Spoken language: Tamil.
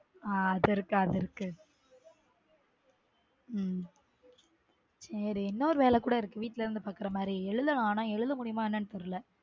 அஹ் சேரி அது இருக்கு உம் சேரி இன்னொரு வேல கூட இருக்கு வீட்ல இருந்து பார்க்குற மாதிரி எழுதனும் ஆனா எழுத முடியுமா என்னனு தெரில